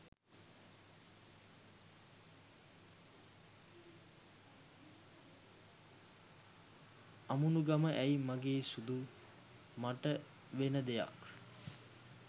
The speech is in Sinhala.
අමුණුගම ඇයි මගේ සුදූ මට වෙන දෙයක්